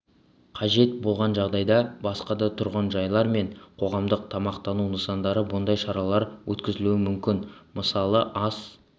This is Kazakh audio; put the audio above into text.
қажет болған жағдайда басқа да тұрғын-жайлар мен қоғамдық тамақтану нысандарында бұндай шаралар өткізілуі мүмкін мысалы ас